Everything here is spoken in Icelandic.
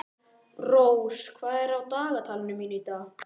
Rós, hvað er á dagatalinu mínu í dag?